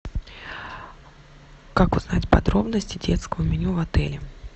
как узнать подробности детского меню в отеле